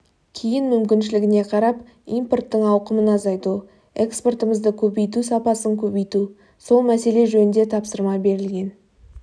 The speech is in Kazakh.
кейін мүмкіншілігіне қарап импорттың ауқымын азайту экспортымызды көбейту сапасын көбейту сол мәселе жөнінде тапсырма берілген